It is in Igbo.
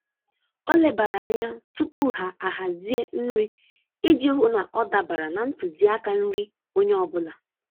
Ọ lebara anya tupu ya ahazi nri iji hụ na ọ dabara na ntuziaka nri onye ọ bụla.